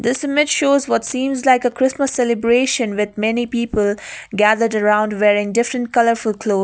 this image shows what seems like a christmas celebration with many people gathered around wearing different colourful cloth.